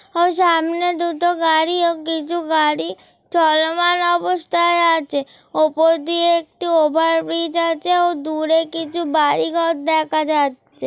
ও সামনে দুটো গাড়ি ও কিছু গাড়ি চলমান অবস্থায় আছে ওপর দিয়ে একটি ওভারব্রিজ আছে ও দূরে কিছু বাড়ি ঘর দেখা যাচ্ছে।